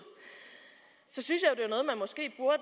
så synes